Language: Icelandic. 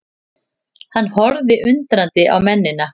Hann horfði undrandi á mennina.